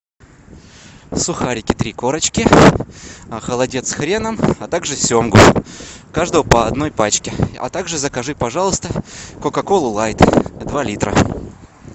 сухарики три корочки холодец с хреном а также семгу каждого по одной пачке а также закажи пожалуйста кока колу лайт два литра